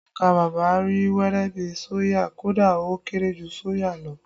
Ọkà bàbà rí wẹ́rẹ́ bi soya, kódà ó kéré jù soya lọ